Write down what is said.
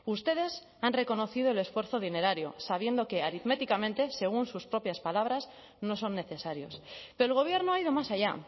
ustedes han reconocido el esfuerzo dinerario sabiendo que aritméticamente según sus propias palabras no son necesarios pero el gobierno ha ido más allá